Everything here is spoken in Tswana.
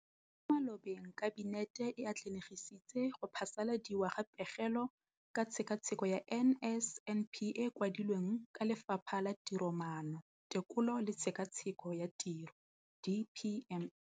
Mo malobeng Kabinete e atlenegisitse go phasaladiwa ga Pegelo ka Tshekatsheko ya NSNP e e kwadilweng ke Lefapha la Tiromaano, Tekolo le Tshekatsheko ya Tiro, DPME].